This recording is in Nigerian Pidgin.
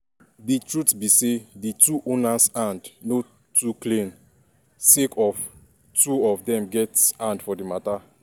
di truth be say di two owners hands um no too clean sake of say two of dem get hand for di mata.